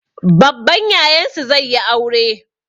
Babban Yayansu zai yi aure.